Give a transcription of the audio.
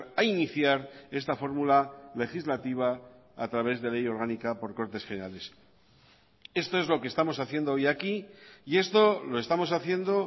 a iniciar esta fórmula legislativa a través de ley orgánica por cortes generales esto es lo que estamos haciendo hoy aquí y esto lo estamos haciendo